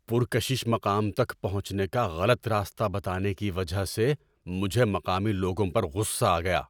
پرکشش مقام تک پہنچنے کا غلط راستہ بتانے کی وجہ سے مجھے مقامی لوگوں پر غصہ آ گیا۔